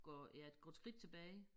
Går ja går et skridt tilbage